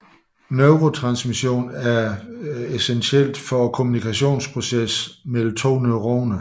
Neurotransmission er essentiel for kommunikationsprocessen mellem to neuroner